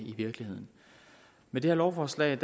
i virkeligheden med det her lovforslag